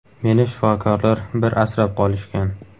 Meni shifokorlar bir asrab qolishgan.